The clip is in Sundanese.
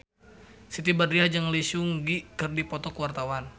Siti Badriah jeung Lee Seung Gi keur dipoto ku wartawan